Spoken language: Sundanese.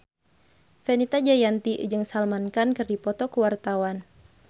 Fenita Jayanti jeung Salman Khan keur dipoto ku wartawan